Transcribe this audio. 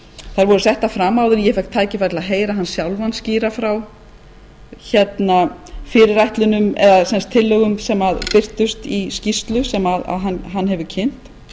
þær voru settar fram áður en ég fékk tækifæri til að heyra hann sjálfan skýra frá tillögum sem birtust í skýrslu sem hann hefur kynnt